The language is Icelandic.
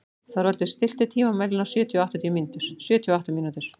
Þorvaldur, stilltu tímamælinn á sjötíu og átta mínútur.